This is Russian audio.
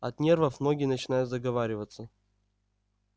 от нервов многие начинают заговариваться